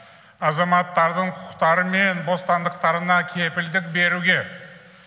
азаматтардың құқықтары мен бостандықтарына кепілдік беруге